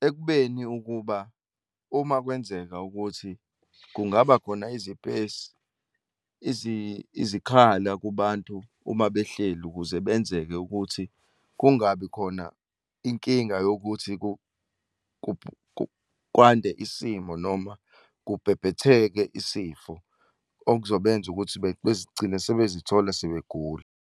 Ekubeni ukuba uma kwenzeka ukuthi kungaba khona izipesi, izikhala kubantu, uma behleli ukuze kwenzeke ukuthi kungabi khona inkinga yokuthi kwande isimo noma kubhebhetheke isifo okuzobenza ukuthi bezigcine sebezithola sebegula.